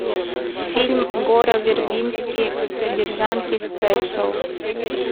фильм гора вербински содержанки спешиал